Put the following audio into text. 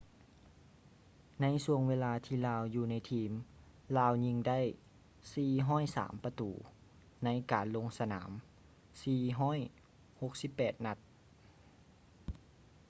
ໃນຊ່ວງເວລາທີ່ລາວຢູ່ໃນທີມ ລາວຍິງໄດ້ 403 ປະຕູ ໃນການລົງສະໜາມ 468 ນັດ